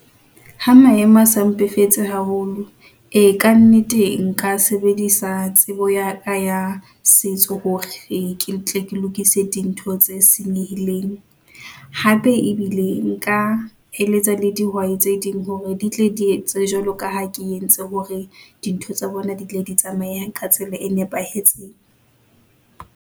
Ha maemo a sa mpefetse haholo e ka nnete, nka sebedisa tsebo ya ka ya setso hore ke tle ke lokise dintho tse senyehileng, hape ebile nka eletsa le dihwai tse ding hore ditle di etse jwalo ka ha ke entse hore dintho tsa bona di tle di tsamaye ka tsela e nepahetseng.